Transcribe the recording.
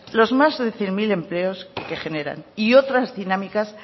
los más de cien mil empleos que generan y otras dinámicas